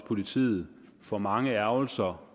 politiet for mange ærgrelser